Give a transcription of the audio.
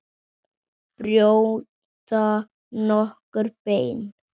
Brjóta nokkur bein?